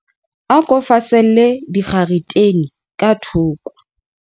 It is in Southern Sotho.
A ko faselle dikgaretene ka thoko.